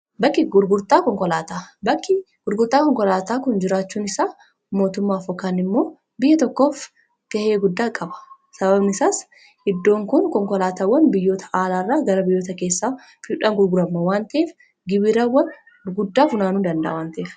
Bakki gurgurtaa konkolaataa kun jiraachuun isaa mootummaadhaaf yookiin biyya tokkoof ga'ee guddaa qaba. Sababni isaas, iddoon kun konkolaattota biyya alaatii gara biyya keessaatti galan gurguru waan ta'eef, gibira guddaa funaanuuf ni gargaara.